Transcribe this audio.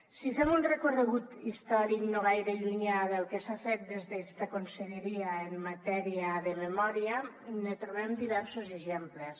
si fem un recorregut històric no gaire llunyà del que s’ha fet des d’esta conselleria en matèria de memòria ne trobem diversos exemples